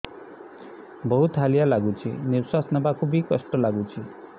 ବହୁତ୍ ହାଲିଆ ଲାଗୁଚି ନିଃଶ୍ବାସ ନେବାକୁ ଵି କଷ୍ଟ ଲାଗୁଚି